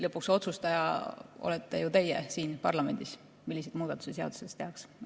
Lõpuks olete ju teie siin parlamendis otsustaja, milliseid muudatusi seaduses tehakse.